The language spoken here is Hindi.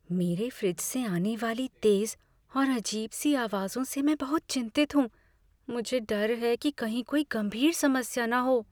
मेरे फ्रिज से आने वाली तेज़ और अजीब सी आवाज़ों से मैं बहुत चिंतित हूँ। मुझे डर है कि कहीं कोई गंभीर समस्या न हो।